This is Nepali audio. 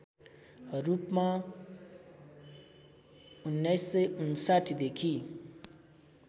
रूपमा १९५९ देखि